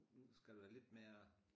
Nu skal du være lidt mere